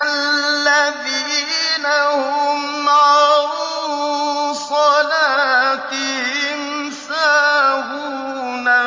الَّذِينَ هُمْ عَن صَلَاتِهِمْ سَاهُونَ